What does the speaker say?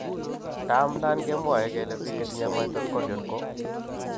Taam nan kemwae kele Biik chetinye mitochondrial ko